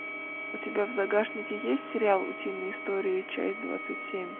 у тебя в загашнике есть сериал утиные истории часть двадцать семь